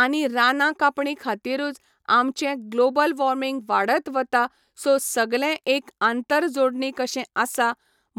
आनी रानां कापणी खातीरूच आमचें ग्लाॅबल वाॅर्मिंग वाडत वता सो सगलें एक आंतर जोडणी कशें आसा